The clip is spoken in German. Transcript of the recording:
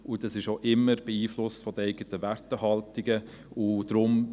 Und das ist auch immer von den eigenen Werthaltungen beeinflusst.